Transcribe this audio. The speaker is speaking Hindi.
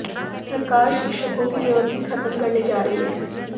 सरकार शिक्षकों की जरूरत ही खत्म करने जा रही है